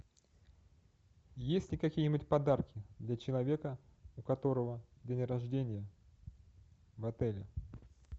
есть ли какие нибудь подарки для человека у которого день рождения в отеле